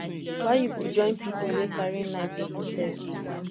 why you go join pipu wey carry knife dey protest